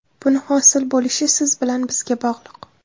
Buni hosil bo‘lishi siz bilan bizga bog‘liq.